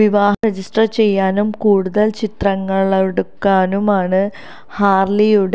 വിവാഹം രജിസ്റ്റര് ചെയ്യാനും കൂടുതല് ചിത്രങ്ങളെടുക്കാനുമാണ് ഹാര്ലിയും